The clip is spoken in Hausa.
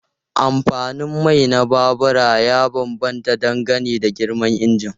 Amfanin mai na babura ya bambanta dangane da girman injin.